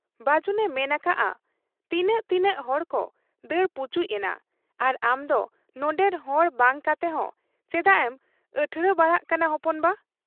ᱵᱟᱹᱡᱩᱱᱮ ᱢᱮᱱ ᱟᱠᱟᱜ ᱟ ᱛᱤᱱᱟᱹᱜ ᱛᱤᱱᱟᱹᱜ ᱦᱚᱲᱠᱚ ᱫᱟᱹᱲ ᱯᱩᱪᱩᱡ ᱮᱱᱟ ᱟᱨ ᱟᱢᱫᱚ ᱱᱚᱱᱰᱮᱱ ᱦᱚᱲ ᱵᱟᱝ ᱠᱟᱛᱮᱦᱚᱸ ᱪᱮᱫᱟᱜ ᱮᱢ ᱟᱴᱷᱬᱮ ᱵᱟᱲᱟᱜ ᱠᱟᱱᱟ ᱦᱚᱯᱚᱱ ᱵᱟ ?